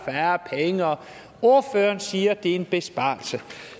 penge og ordføreren siger at det er en besparelse